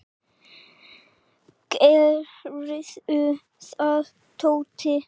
Gerðu það, Tóti.